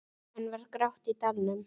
Enn var grátt í dalnum.